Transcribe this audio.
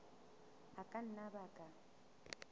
a ka nna a baka